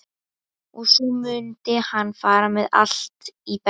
Og svo mundi hann fara með allt í bekkinn.